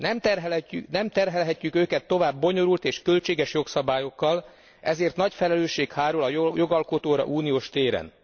Nem terhelhetjük őket tovább bonyolult és költséges jogszabályokkal, ezért nagy felelősség hárul a jogalkotóra uniós téren.